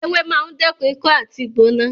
Ewé máa ń dẹ́kun ikọ́ àti ìgbóná